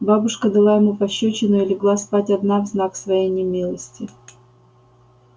бабушка дала ему пощёчину и легла спать одна в знак своей немилости